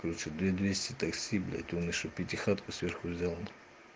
короче две двести такси блять он ещё пятихатку сверху взяла